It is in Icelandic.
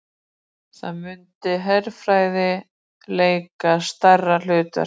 Þar muni herfræði leika stærra hlutverk